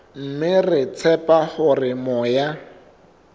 mme re tshepa hore moya